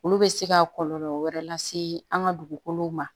Olu bɛ se ka kɔlɔlɔ wɛrɛ lase an ka dugukolow ma